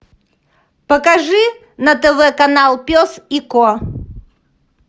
покажи на тв канал пес и ко